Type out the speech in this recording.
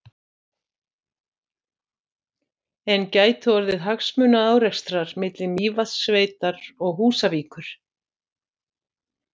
En gætu orðið hagsmunaárekstrar milli Mývatnssveitar og Húsavíkur?